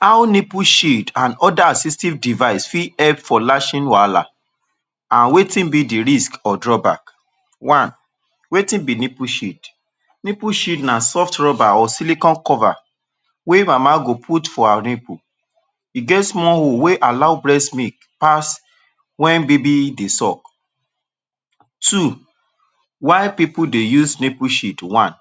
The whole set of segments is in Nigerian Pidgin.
How nipple sheet and oda assistive device fit help for lashing wahala and wetin be di risk or draw back. One, wetin be nipple sheet. Nipple Sheet na soft rubber or silicon cover wey nama go put for her nipple e get small hole wey allow breast milk pass wen baby dey suck Two. Why pipu they use nipple sheet? One.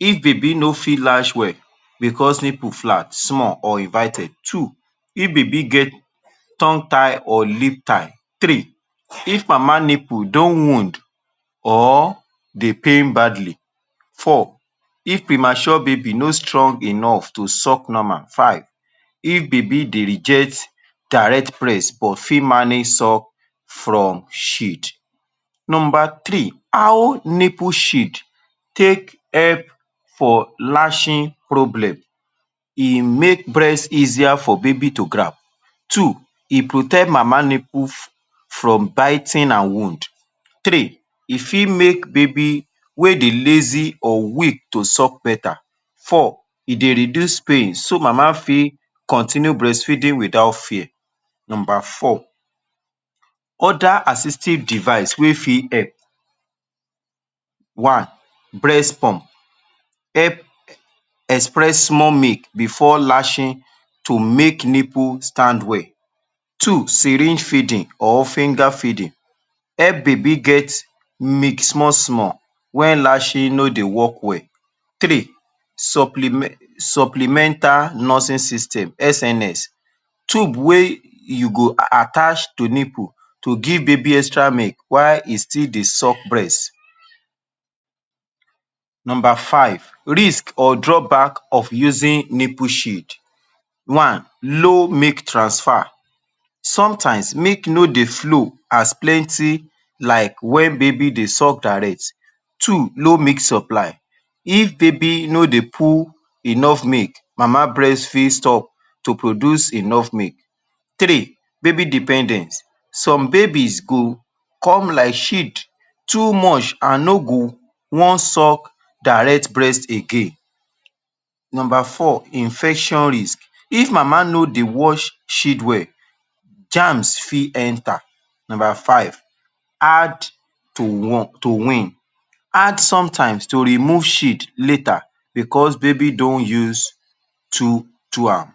If baby no feel latch well bicos nipple flat, small or inverted. Two If baby get tongue tie or lip tie. Three, If mama nipple don wound or they pain badly. Four. If premature baby no strong enough to suck normal. Five. If baby they reject direct breast or fit manage suck from sheet. Number three, How nipple sheet take help for latching problem? E make breast easier for baby to grab. Two e protect mama nipple from biting and wound. Three e fit make baby wey dey lazy or weak to suck better. Four, e Dey reduce pain so mama fit continue breastfeeding wit out fear. Number four: oda assistive device we fit help. One, Breast pump. Help express small milk before latching to make nipple stand well. Two, Syringe feeding or finger feeding. Help baby get milk small small wen latching no dey wok well. Three, Supple Supplemental nursing system (SNS) tube wey you go attach to nipple to give baby extra milk while e still dey suck breast. Number five: Risk or drawback of using nipple sheet. One, Low milk transfer. Sometimes milk no dey flow, as plenty like wen baby dey suck direct. Two, low milk supply, if baby no de pull enough milk mama breast fit stop to produce enough milk. Three. Baby dependent. Some babies go come like sheet too much and no go wan suck direct breast again. Number four, Infection risk. If mama no dey wash sheet well, germs fit enta. Number five. Hard to won wean. Hard sometimes to remove sheet later bicos baby don use to am